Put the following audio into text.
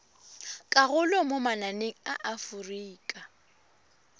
karolo mo mananeng a aforika